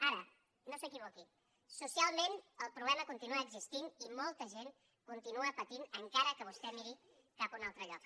ara no s’equivoqui socialment el problema continua existint i molta gent continua patint encara que vostè miri cap a un altre lloc